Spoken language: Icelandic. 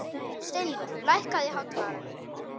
Steinvör, lækkaðu í hátalaranum.